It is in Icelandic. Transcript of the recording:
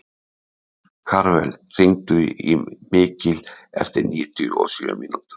Karvel, hringdu í Mikil eftir níutíu og sjö mínútur.